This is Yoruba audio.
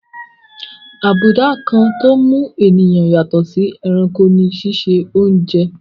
Abùdá kan tó mú ènìyàn yàtọ̀ sí ẹranko ní síse oúnje.